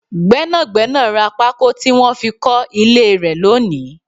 Gbẹ́nàgbẹ́nà rá pako tí wọn fi kọ ilé rẹ lónìí